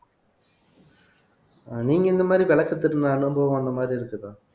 நீங்க இந்த மாதிரி விளக்கு திருடின அனுபவம் அந்த மாதிரி இருக்குதா